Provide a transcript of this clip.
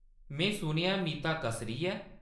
में सुनेआ ऐ मीता कसरी ऐ।